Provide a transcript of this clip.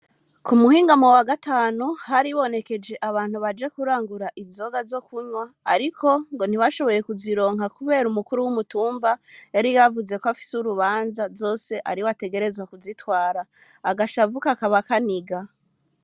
Ku muhingamo w'agatanu haribonekeje abantu baje kurangura inzoga zokunwa ngo ntibashoboye ku zironka kubera umukuru w'umutumba yari yavuze ko afise urubanza zose ariwe ategerezwa ku zitwara.